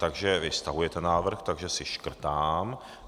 Takže vy stahujete svůj návrh, takže si škrtám.